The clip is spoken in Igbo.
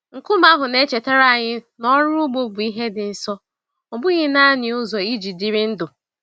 Nkume ahụ na-echetara anyị na ọrụ ugbo bụ ihe dị nsọ, ọ bụghị naanị ụzọ iji dịrị ndụ.